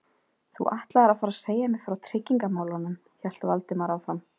Þú ætlaðir að fara að segja mér frá tryggingamálunum- hélt Valdimar áfram.